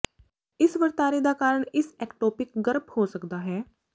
ਇਸ ਵਰਤਾਰੇ ਦਾ ਕਾਰਨ ਇਸ ਐਕਟੋਪਿਕ ਗਰਭ ਹੋ ਸਕਦਾ ਹੈ